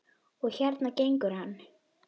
Og hérna gengur hann.